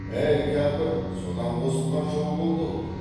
әй кәпір содан қосылған жау болды ау